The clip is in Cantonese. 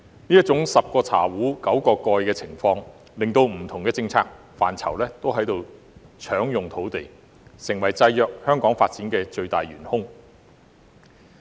這種"十個茶壺九個蓋"的情況，令不同政策範疇也在搶用土地，成為制約香港發展的最大元兇。